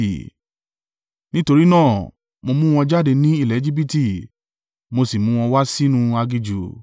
Nítorí náà, mo mú wọn jáde ní ilẹ̀ Ejibiti mo sì mú wọn wá sínú aginjù.